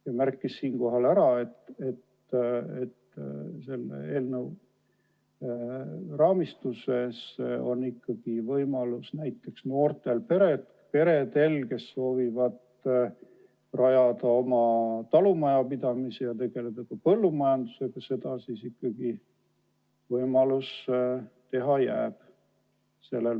Ta märkis ära, et selle eelnõu raames on ikkagi võimalus näiteks noortel peredel, kes soovivad rajada oma talumajapidamise ja tegeleda põllumajandusega, seda ikkagi teha.